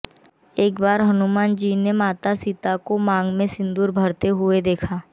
एक बार हनुमान जी ने माता सीता को मांग में सिंदूर भरते हुए देखा